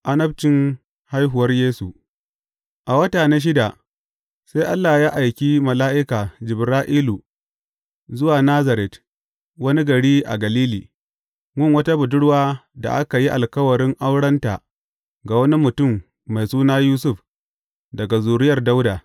Annabcin haihuwar Yesu A wata na shida, sai Allah ya aiki mala’ika Jibra’ilu zuwa Nazaret, wani gari a Galili, gun wata budurwar da aka yi alkawarin aurenta ga wani mutum mai suna Yusuf daga zuriyar Dawuda.